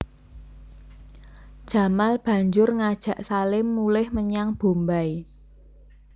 Jamal banjur ngajak Salim mulih menyang Bombay